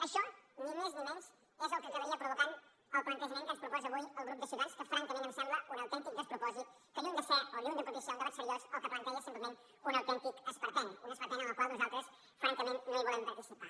això ni més ni menys és el que acabaria provocant el plantejament que ens proposa avui el grup de ciutadans que francament em sembla un autèntic despropòsit que lluny de ser o lluny de propiciar un debat seriós el que planteja simplement és un autèntic esperpent un esperpent en el qual nosaltres francament no volem participar